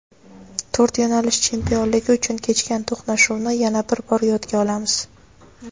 To‘rt yo‘nalish chempionligi uchun kechgan to‘qnashuvni yana bir bor yodga olamiz.